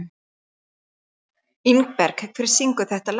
Ingberg, hver syngur þetta lag?